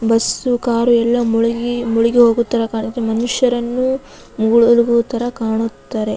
Bus car ಎಲ್ಲ ಮುಳುಗಿ ಮುಳುಗಿ ಹೋಗುತ್ತವೆ ಕಾಣು ಮನುಷ್ಯರನ್ನು ಮುಳುಗೋ ತರ ಕಾಣುತ್ತಾರೆ.